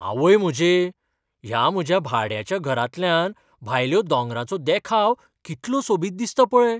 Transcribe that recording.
आवय म्हजे, ह्या म्हज्या भाड्याच्या घरांतल्यान भायल्यो दोंगरांचो देखाव कितलो सोबीत दिसता पळय.